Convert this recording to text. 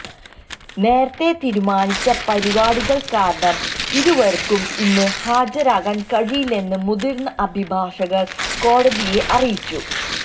നേരത്തെ തീരുമാനിച്ച പരിപാടികള് കാരണം ഇരുവര്ക്കും ഇന്ന് ഹാജരാകാന് കഴിയില്ലെന്ന് മുതിര്ന്ന അഭിഭാഷകര് കോടതിയെ അറിയിച്ചു